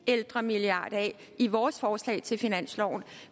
ældremilliard af i vores forslag til finansloven